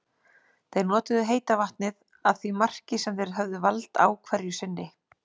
Þeir notuðu heita vatnið að því marki sem þeir höfðu vald á hverju sinni.